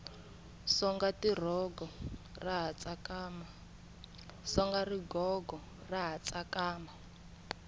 songa rigogo ra ha tsakama